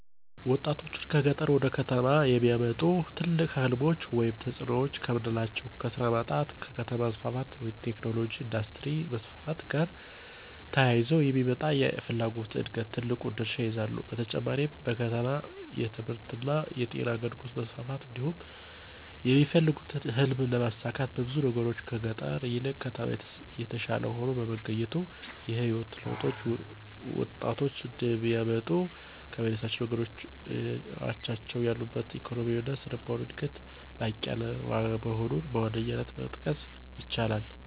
ወጣቶችን ከገጠር ወደ ከተሞች የሚያመጡ ትልቅ ሕልሞች ወይም ተጽዕኖዎች ከምናላቸው ከስራ ማጣት እና ከከተማ መስፋፋት (ቴክኖሎጅ፣ የኢንዱስትሪ መስፋፋት )ጋር ተያይዞ የሚመጣ የፍላጎት ዕድገት ትልቁን ድርሻ ይይዛሉ። በተጨማሪም በከተማ የትምህርትእና የጤና አገልግሎት መስፋፋት እንዲሁም የሚፈልጉትን ህልም ለማሳካት በብዙ ነገሮች ከገጠር ይልቅ ከተማ የተሻለ ሆኖ በመገኘቱ። የህይወት ለውጥ ወጣቶች እንዲያመጡ ከሚያነሳሷቸው ነገሮች አቻዎቻቸው ያሉበት ኢኮኖሚያዊ እና ስነልቦናዊ ዕድገት ላቅ ያለ መሆኑን በዋነኛነት መጥቀስ ይቻላል።